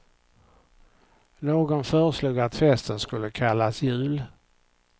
Någon föreslog att festen skulle kallas jul.